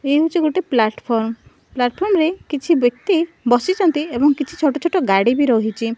ଏ ହେଉଛି ଗୋଟେ platform platform ରେ କିଛି ବ୍ୟକ୍ତି ବସିଛନ୍ତି ଏବଂ କିଛି ଛୋଟ ଛୋଟ ଗାଡ଼ି ବି ରହିଛି।